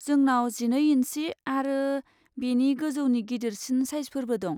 जोंनाव जिनै इन्सि आरो बेनि गोजौनि गिदिरसिन साइजफोरबो दं।